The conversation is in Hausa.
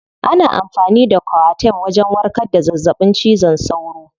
Ana amfani da coartem wajen warkar da zazzaɓin cizon sauro.